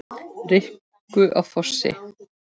Rikku á Fossi!